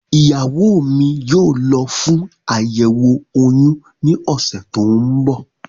Ìyàwó mi yóò lọ fún àyẹ̀wò oyún ní ọ̀sẹ̀ tó ń bọ̀